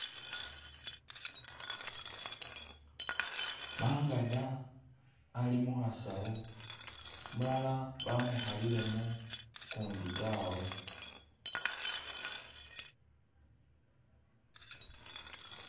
Mangada ali mukhasawu, umulala bamukhalilemu, ukundi tawe